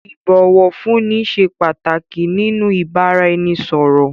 Ìbọ̀wọ̀fúnni ṣé pàtàkì nínú ìbáraẹnisọ̀rọ̀.